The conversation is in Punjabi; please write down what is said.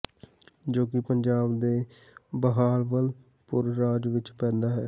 ਜੋ ਕਿ ਪੰਜਾਬ ਦੇ ਬਹਾਵਲਪੁਰ ਰਾਜ ਵਿੱਚ ਪੈਂਦਾ ਹੈ